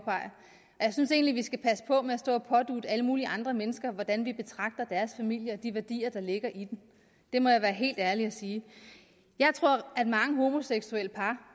jeg synes egentlig at vi skal passe på med at stå og pådutte alle mulige andre mennesker hvordan vi betragter deres familier og de værdier der ligger i dem det må jeg være helt ærlig at sige jeg tror at mange homoseksuelle par